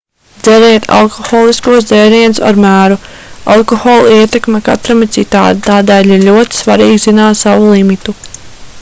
dzeriet alkoholiskos dzērienus ar mēru alkohola ietekme katram ir citāda tādēļ ir ļoti svarīgi zināt savu limitu